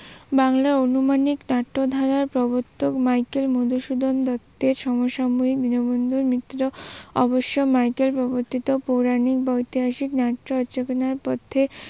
বাংলা অনুমানিক নাট্য ধারার প্রবর্তক মাইকেল মদুসূদন দত্তের সমসাময়িক দীনবন্ধু মিত্র অবশ্য মাইকেল প্রবর্তিত পুরানিক বা ঐতিহাসিক নাট্য রচনার পথে